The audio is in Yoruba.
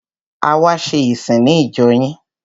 A wá ṣe ìsìn ní ìjọ yín.